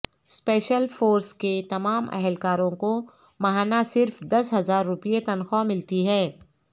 special force کے تمام اہلکاروں کو ماہانہ صرف دس ہزار روپے تنخواہ ملتی ہے